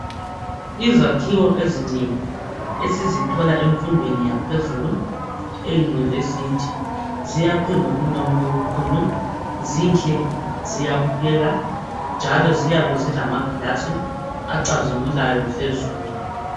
Izakhiwo ezinengi esizithola emfundweni yaphezulu eyunivesithi ziyakhwe ngobunono obukhulu, zinhle ziyabukeka njalo ziyabe zilamaglass acazimulayo phezulu.